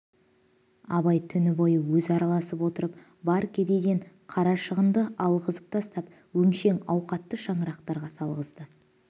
абай түні бойы өзі араласып отырып бар кедейден қарашығынды алғызып тастап өңшең ауқатты шаңырақтарға салғызды